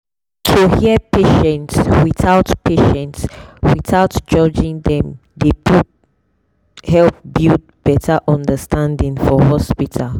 to hear patients without patients without judging them dey help build better understanding for hospital.